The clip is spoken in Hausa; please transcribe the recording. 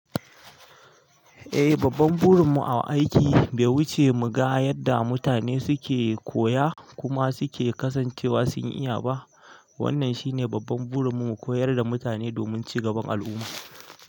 Eh, babban burin mu a aiki bai wuce mu ga yadda mutane suke koya kuma suke kasancewa sun iya ba. Wannan shine babban burin mu, koyar da mutane domin ci gaban al'umma.